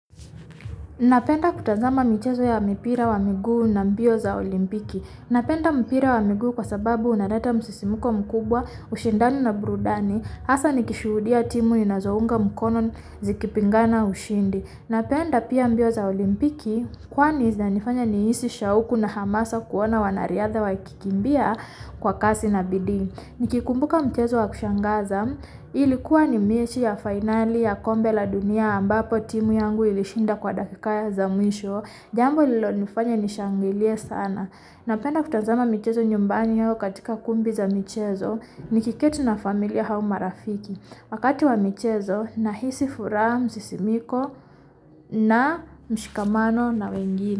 Na penda kutazama michezo ya mipira wa miguu na mbio za olimpiki. Na penda mpira wa miguu kwa sababu unareta msisimuko mkubwa, ushindani na burudani, asa ni kishuudia timu nina zounga mkono zikipingana ushindi. Na penda pia mbio za olimpiki, kwani zinanifanya niisi shauku na hamasa kuona wanariadha wakikimbia kwa kasi nabidii. Ni kikumbuka mchezo wa kushangaza, ilikuwa ni mechi ya fainali ya kombe la dunia ambapo timu yangu ilishinda kwa dakika ya za mwisho. Jambo lilo ni fanya nishangilie sana. Na penda kutazama michezo nyumbani au katika kumbi za michezo, ni kiketi na familia au marafiki. Wakati wa michezo, nahisi furaha msisimuko na mshikamano na wengine.